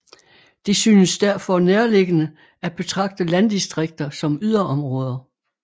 Det synes derfor nærliggende at betragte landdistrikter som yderområder